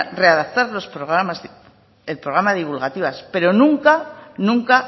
readaptar los programas divulgativos pero nunca